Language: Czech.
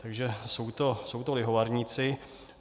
Takže jsou to lihovarníci.